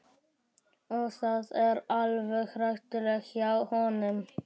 Og það er alveg hárrétt hjá honum.